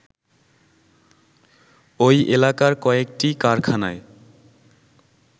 ওই এলাকার কয়েকটি কারখানায়